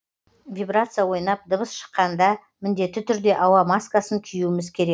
вибрация ойнап дыбыс шыққанда міндетті түрде ауа маскасын киюіміз керек